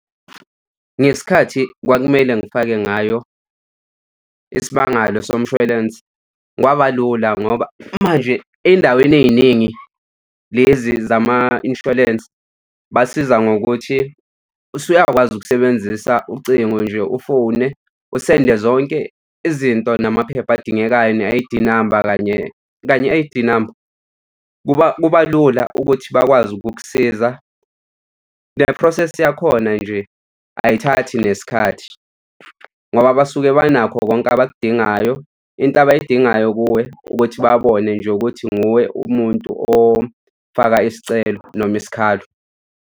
Ngesikhathi kwakumele ngifake ngayo isimangalo somshwalense kwaba lula ngoba manje ey'ndaweni ey'ningi lezi zama-insurance basiza ngokuthi usuyakwazi ukusebenzisa ucingo nje ufone osende zonke izinto namaphepha adingekayo ne-I_D number kanye ne-I_D number. Kuba lula ukuthi bakwazi ukukusiza, ne-process yakhona nje ayithathi nesikhathi ngoba basuke banakho konke abakudingayo. Into abayidingayo kuwe ukuthi babone nje ukuthi nguwe umuntu ofaka isicelo noma isikhalo.